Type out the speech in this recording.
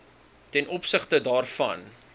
ten opsigte daarvan